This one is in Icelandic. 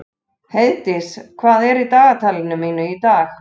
Heiðdís, hvað er í dagatalinu mínu í dag?